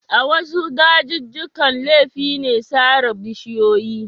A wasu dajijjikan laifi ne sare bishiyoyi.